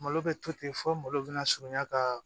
Malo bɛ to ten fɔ malo bɛna surunya ka